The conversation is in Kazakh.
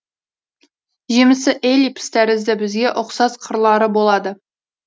жемісі эллипс тәрізді бізге ұқсас қырлары болады